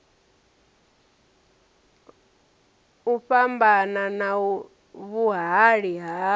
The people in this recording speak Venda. u fhambana na vhuhali ha